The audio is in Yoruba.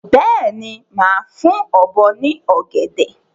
Bẹ́ẹ̀ni, máa fún ọ̀bọ ní ọ̀gẹ̀dẹ̀.